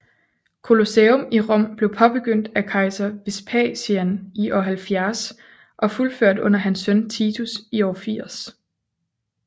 Colosseum i Rom blev påbegyndt af kejser Vespasian i år 70 og fuldført under hans søn Titus i år 80